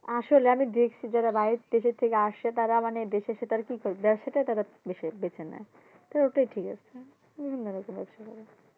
আসলে আমি দেখছি যারা বাইরের দেশে থেকে আসে তারা মানে দেশে এসে তারা কি করবে ব্যবসাটা তারা বেসে বেছে নেয়, তো ওটাই ঠিক আছে